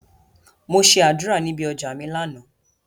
Mo ṣe àdúrà níbi ọjà mi lánàá.